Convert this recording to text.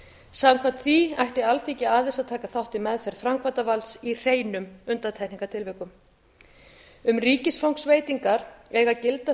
samkvæmt því ætti alþingi aðeins að taka þátt í meðferð framkvæmdarvalds í hreinum undantekningartilvikum um ríkisfangsveitingar eiga að gilda